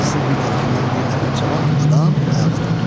Məclisin bir tərəfindən bir nəfər cavan adam ayağa durdu.